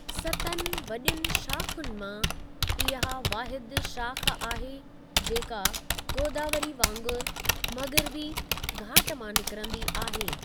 सतनि वॾियुनि शाख़ुनि मां इहा वाहिदु शाख़ आहे जेका गोदावरी वांगुरु मग़िरबी घाट मां निकरंदी आहे।